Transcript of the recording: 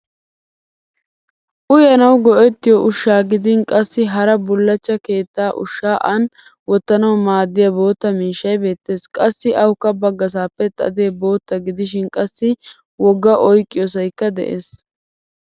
Uyanawu go'ettiyo ushshaa gidin qassi hara bullachcha keettaa ushshaa aani wottanawu maaddiya bootta miishshay beettes. Qassi awukka baggasaappe xade bootta gidishin qassi wogga oyqiyoosayikka de'es.